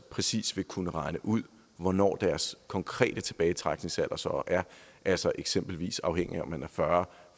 præcis vil kunne regne ud hvornår deres konkrete tilbagetrækningsalder så er altså eksempelvis afhængigt af om man er fyrre